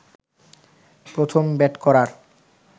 প্রথম ব্যাট করার